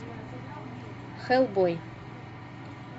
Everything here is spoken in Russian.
хеллбой